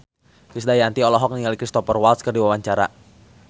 Krisdayanti olohok ningali Cristhoper Waltz keur diwawancara